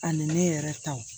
Ani ne yɛrɛ taw